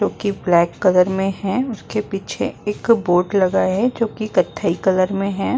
जो कि black colour में है उसके पीछे एक बोर्ड लगा है जोकि कत्थई कलर में है।